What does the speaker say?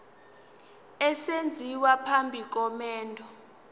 esenziwa phambi komendo